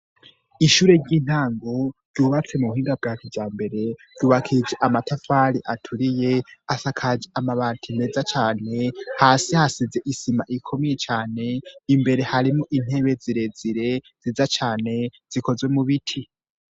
Ishure ry'intango ryubatse mu buhinga bwa kijambere, ryubakishije amatafari aturiye, asakaje amabati meza cane, hasi hasize isima ikomeye cane, imbere harimwo intebe zirezire nziza cane zikozwe mu biti.